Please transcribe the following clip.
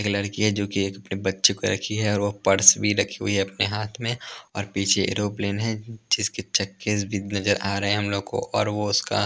एक लड़की है जो कि एक अपने बच्चे को रखी है और वो पर्स भी रखी हुई है अपने हाथ में और पीछे एरोप्लेन है जिसके चक्केस भी नजर आ रहे हैं हम लोग को और वो उसका --